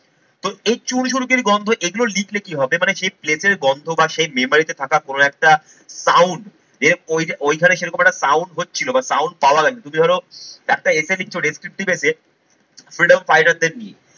তো এই চুন সুরকির গন্ধ, এই চুন সুরকির গন্ধ এগুলো লিখলে কি হবে মানে সেই place এর গন্ধ বা সেই memory তে থাকা কোন একটা sound যে ওই যে ওইখানে সেরকম একটা sound হচ্ছিল বা sound পাওয়া গেছে তুমি ধরো একটা essay লিখছ, descriptive essay freedom fighter দের নিয়ে